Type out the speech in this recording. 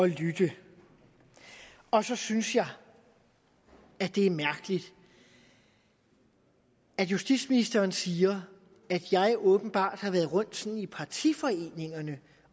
lytte og så synes jeg det er mærkeligt at justitsministeren siger at jeg åbenbart sådan har været rundt i partiforeningerne